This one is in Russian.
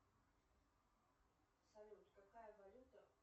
салют какая валюта